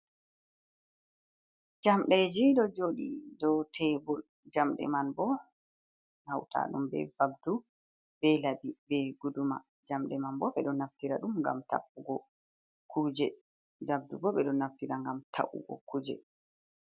Jamde ji do jodi do tebur, jamde man bo hauta dum be vabdu ,be labi ,be guduma jamde man bo be don naftira dum ngam ta'ugo kuje ,vabdu bo be do naftira ngam ta’ugo kuje.